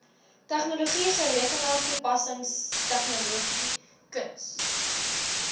tegnologie rekenaartoepassingstegnologie kuns